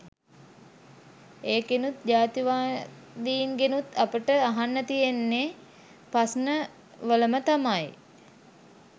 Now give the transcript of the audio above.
එකෙනුත් ජාතිවාදීන්ගෙනුත් අපට අහන්න තියෙන ප්‍රශ්ණ වැලම තමයි